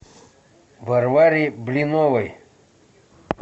варваре блиновой